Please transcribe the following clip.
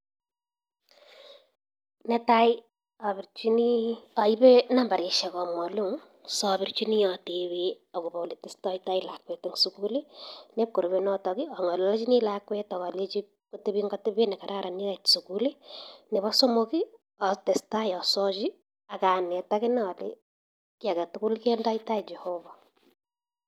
Nee tai aibe nambarishek ab mwalimu si abirchini atebe agobo ole tesetai lakwet eng skuli neb korubei netok ii angolochini lakwet ak alechi kotebi eng atebet nee kararan ye kait skul nebo somok atestai asochi ak anet akine alechi kii age tugul kendoi tai Jehovah